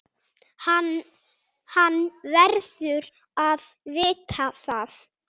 Hann verður að vita það.